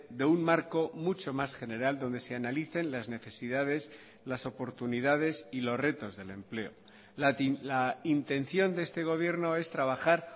de un marco mucho más general donde se analicen las necesidades las oportunidades y los retos del empleo la intención de este gobierno es trabajar